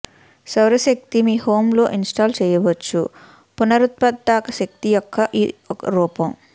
సౌర శక్తి మీ హోమ్ లో ఇన్స్టాల్ చేయవచ్చు పునరుత్పాదక శక్తి యొక్క ఒక రూపం